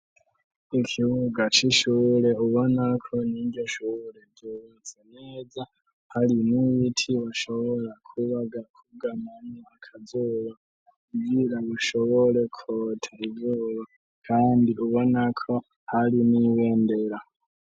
Ikibuga c'ishure ubonako mwiryoshure ryobutse neza hari n'iyiti ubashobora kubaga wugamamo akazuba kugira bushobore kuhotera izuba kandi ubonako hari n'ibendera.